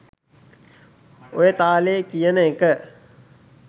ඔය තාලේ කියන එක